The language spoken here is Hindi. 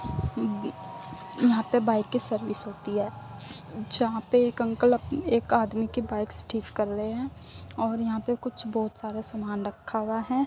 यहाँ पे बाइक की सर्विस होती है। जहा पर एक अंकल अप एक आदमी की बाइक ठीक कर रहे हैं ओर यहा पे कुछ बोहोत सारा समान रखा हुआ है।